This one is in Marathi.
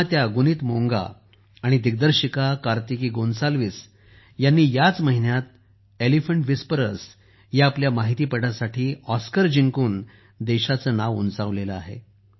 निर्मात्या गुनीत मोंगा आणि दिग्दर्शिका कार्तिकी गोन्साल्विस ह्यांनी याच महिन्यात एलिफंट व्हिस्परर्स या आपल्या माहितीपटासाठी ऑस्कर जिंकून देशाचे नाव उंचावले आहे